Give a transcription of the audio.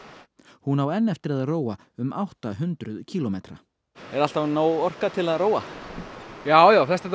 hún á enn eftir að róa um átta hundruð kílómetra er alltaf nóg orka til að róa já já flesta daga